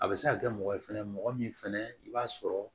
A bɛ se ka kɛ mɔgɔ ye fɛnɛ mɔgɔ min fana i b'a sɔrɔ